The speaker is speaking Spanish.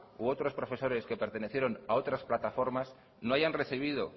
u otros profesores que pertenecieron a otras plataformas no hayan recibido